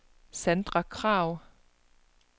Sandra Kragh